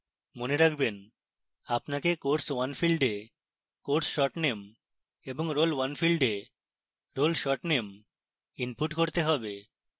মনে রাখবেন: